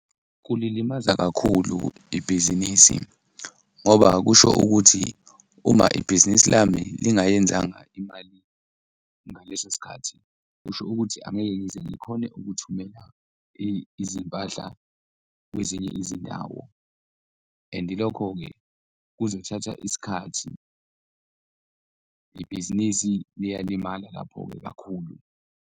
Kulilimaza kakhulu ibhizinisi ngoba kusho ukuthi uma ibhizinisi lami lingayenzanga imali ngaleso sikhathi kusho ukuthi angeke ngize ngikhone ukuthumela izimpahla kwezinye izindawo and-i lokho-ke kuzothatha isikhathi, ibhizinisi liyalimala lapho-ke kakhulu.